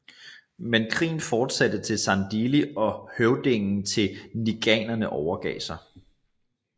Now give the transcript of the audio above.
Men krigen fortsatte til Sandili og høvdingen til ngqikaerne overgav sig